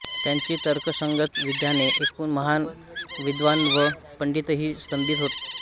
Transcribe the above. त्यांची तर्कसंगत विधाने ऐकून महान विद्वान व पंडितही स्तंभित होत